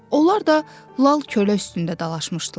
Onlar da lal kölə üstündə dalaşmışdılar.